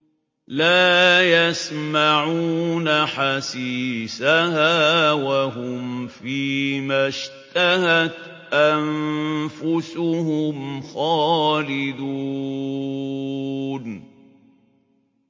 لَا يَسْمَعُونَ حَسِيسَهَا ۖ وَهُمْ فِي مَا اشْتَهَتْ أَنفُسُهُمْ خَالِدُونَ